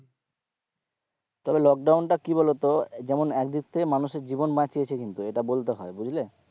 তবে লোকডাউনটা কি বলতো যেমন একদিক থেকে মানুষের জীবন বাঁচিয়েছে কিন্তু এটা বলতে হয় বুঝলে,